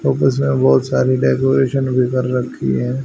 Office में बहोत सारी डेकोरेशन भी कर रखी है।